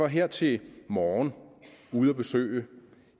her til morgen var ude at besøge